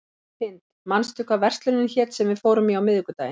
Hind, manstu hvað verslunin hét sem við fórum í á miðvikudaginn?